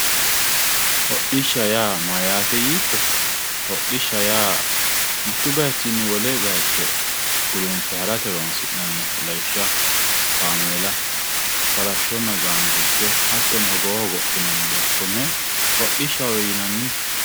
hodhishsha yaa mayyaate yiitto hodhishsha mittu bayiichinni wolewa gulunfe harate horonsi'nanniha lawishshaho kaameela farashshonnna gaangiicho hattono hogowo hogophinanniha konne hodhishshahowe yinanni.